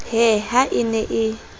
he ha e ne e